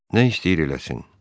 Nə istəyir eləsin.